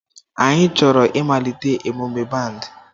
Anyị chọrọ ịmalite emume band